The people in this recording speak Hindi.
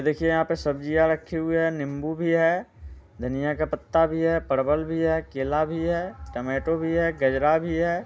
देखिए यहाँ पे सब्जियाँ रखी हुई है नींबू भी है धनिया का पत्ता भी है परवल भी है केला भी है टमेटो भी है गजरा भी है।